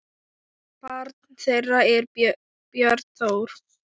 Barn þeirra er Björn Þór.